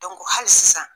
hali sisan